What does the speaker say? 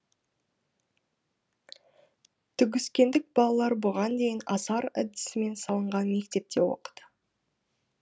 түгіскендік балалар бұған дейін асар әдісімен салынған мектепте оқыды